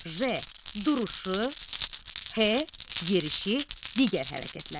J. duruşu, H. yerişi, digər hərəkətləri.